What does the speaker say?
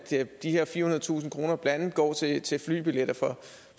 de her firehundredetusind kroner blandt andet går til til flybilletter for